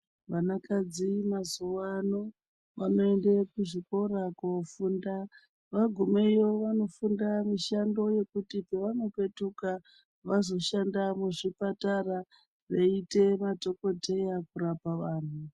Vanakadzi mazuvano vanoenda kuzvikora kofunda vagumayo vofunda mushando yekuti pavanopetuka vazoshanda muzvipatara veiita madhongodheya kurapa vanhu.